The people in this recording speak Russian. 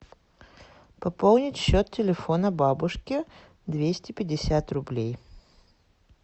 пополнить счет телефона бабушки двести пятьдесят рублей